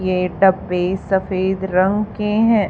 ये डब्बे सफेद रंग के हैं।